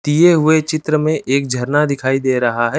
दिए हुए चित्र में एक झरना दिखाई दे रहा है।